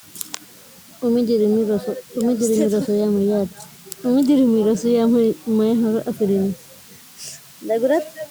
umi dirimi roso yaamu yaati umi dirimi roso yaamu maye horo afi'riinni dagura